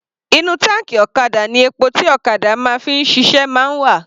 Inú táǹkì ọ̀kadà ni epo tí ọ̀kadà máa ń fi ṣiṣẹ́ máa ń wà.